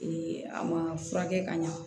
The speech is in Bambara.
a ma furakɛ ka ɲa